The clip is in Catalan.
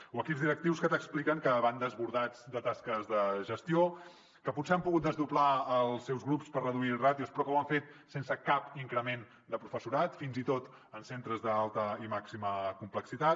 o equips directius que t’expliquen que van desbordats de tasques de gestió que potser han pogut desdoblar els seus grups per reduir ràtios però que ho han fet sense cap increment de professorat fins i tot en centres d’alta i màxima complexitat